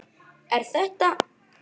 Er þetta.?